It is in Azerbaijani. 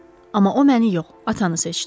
Amma o məni yox, atanı seçdi.